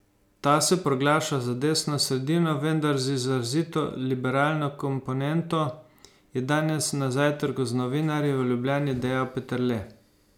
Ta se proglaša za desno sredino, vendar z izrazito liberalno komponento, je danes na zajtrku z novinarji v Ljubljani dejal Peterle.